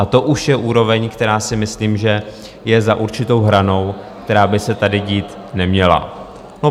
A to už je úroveň, která si myslím, že je za určitou hranou, která by se tady dít neměla.